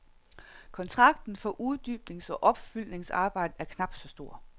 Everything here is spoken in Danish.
Kontrakten for uddybnings og opfyldningsarbejdet er knap så stor.